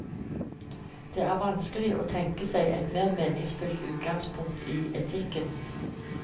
Det er vanskelig å tenke seg et mer meningsfullt utgangspunkt i etikken.